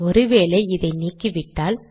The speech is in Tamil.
ஒரு வேளை இதை நீக்கிவிட்டால்